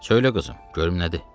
Söylə, qızım, görüm nədir?